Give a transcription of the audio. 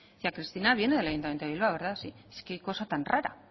decía cristina viene del ayuntamiento de bilbao verdad sí qué cosa tan raro